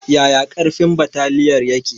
Yaya ƙarfin bataliyar yake?